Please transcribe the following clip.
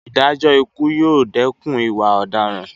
Ìdájọ́ ikú yóò dẹkùn ìwà ọ̀daràn